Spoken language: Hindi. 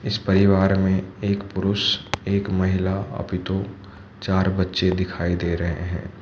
इस परिवार में एक पुरुष एक महिला अभी तो चार बच्चे दिखाई दे रहे हैं।